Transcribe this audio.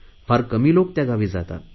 फार कमी लोक त्या गावी जातात